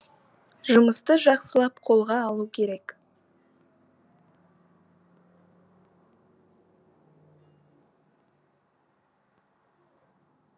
жұмысты жақсылап қолға алу керек